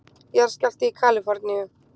Jarðskjálfti í Kalíforníu